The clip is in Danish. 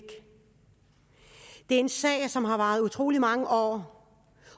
en sag som har varet i utrolig mange år